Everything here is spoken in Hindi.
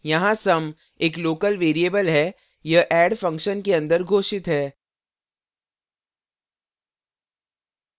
यहाँ sum एक local variable है यह add function के अंदर घोषित है